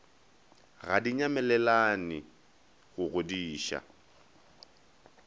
ga di nyalelane go godiša